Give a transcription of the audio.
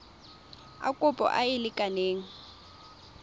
a kopo a a lekaneng